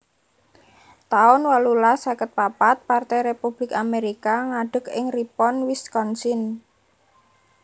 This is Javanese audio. taun wolulas seket papat Partai Republik Amerika ngadeg ing Ripon Wisconsin